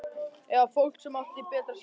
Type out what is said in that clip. Eða fólk sem átti betra skilið?